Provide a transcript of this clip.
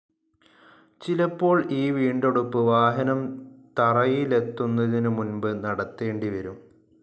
ചിലപ്പോൾ ഈ വീണ്ടെടുപ്പ് വാഹനം തറയിലെത്തുന്നതിനു മുൻപ് നടത്തേണ്ടിവരും.